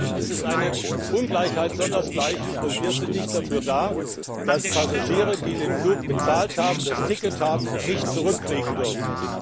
Das ist eine Ungleichheit sonders gleichen und wir sind nicht dafür, dass Passagiere, die den Flug bezahlt haben und ein Ticket haben, nicht zurückfliegen dürfen.